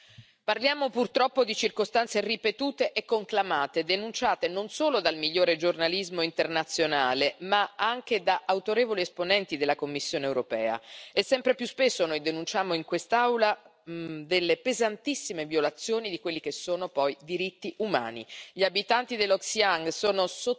Signor Presidente, onorevoli colleghi, parliamo purtroppo di circostanze ripetute e conclamate, denunciate non solo dal migliore giornalismo internazionale, ma anche da autorevoli esponenti della Commissione europea, e sempre più spesso noi denunciamo in quest'Aula delle pesantissime violazioni di quelli che sono poi diritti umani.